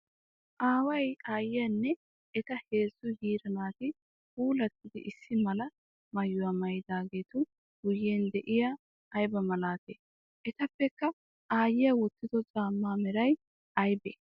Aaway aayiyanne eta heezzu yiira naati puulatiddi issi mala maayuwaa maayidageetu guyen de'iyage ayba malati? Etapekka aayiyaa wotido camaa meray aybe?